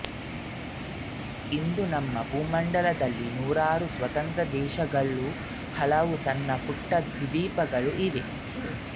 ಇಂದು ನಮ್ಮ ಭೂಮಂಡಲದಲ್ಲಿ ನೂರಾರು ಸ್ವತಂತ್ರ ದೇಶಗಳುಹಲವು ಸಣ್ಣ ಪುಟ್ಟ ದ್ವೀಪಗಳೂ ಇವೆ